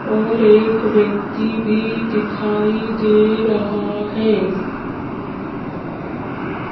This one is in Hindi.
और एक व्यक्ति भी दिखाई दे रहा है।